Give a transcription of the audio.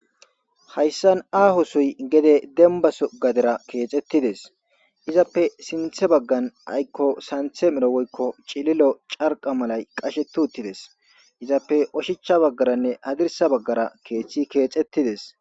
Hayssan aahosoy gede dembaso gadera keexettides izappe sinthe baggan aykko santhe merowoykko cililo carqa malay qashe tuuttides izappe oshicha baggaranne hadirsa baggara keethchi keexettides.